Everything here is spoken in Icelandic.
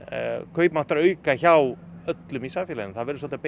kaupmáttarauka hjá öllum í samfélaginu það verður svolítið